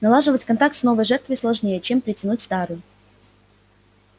налаживать контакт с новой жертвой сложнее чем притянуть старую